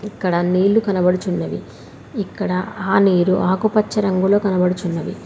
ఇక్కడ నీళ్లు కనబడుచున్నవి ఇక్కడ ఆ నీరు ఆకుపచ్చ రంగులో కనబడుచున్నవి.